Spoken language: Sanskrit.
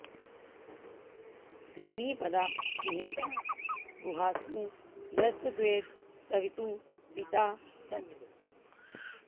त्रीणि॑ प॒दा निहि॑ता॒ गुहा॑सु॒ यस्तद्वेद॑ सवि॒तुः पि॒ता स॑त्